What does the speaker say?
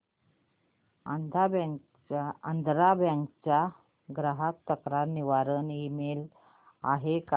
Andhra bank चा ग्राहक तक्रार निवारण ईमेल आहे का